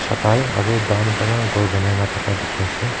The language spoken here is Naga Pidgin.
Tai aru dan para gour bonai na thaka dekhi ase.